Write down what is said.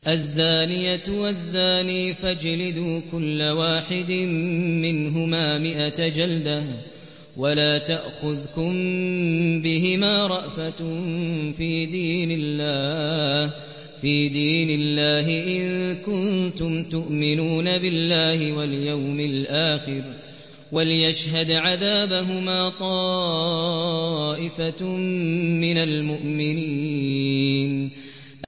الزَّانِيَةُ وَالزَّانِي فَاجْلِدُوا كُلَّ وَاحِدٍ مِّنْهُمَا مِائَةَ جَلْدَةٍ ۖ وَلَا تَأْخُذْكُم بِهِمَا رَأْفَةٌ فِي دِينِ اللَّهِ إِن كُنتُمْ تُؤْمِنُونَ بِاللَّهِ وَالْيَوْمِ الْآخِرِ ۖ وَلْيَشْهَدْ عَذَابَهُمَا طَائِفَةٌ مِّنَ الْمُؤْمِنِينَ